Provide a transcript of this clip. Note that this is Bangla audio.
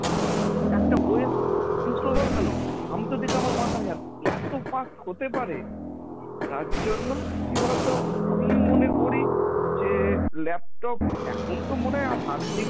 একটা webs install হয়ে গেল? আমি তো দেখে আমার মাথায় হাত এত fast হতে পারে, তার জন্য কি বলতো? আমি মনে করি যে laptop এখন তো মনে হয় আর hard disc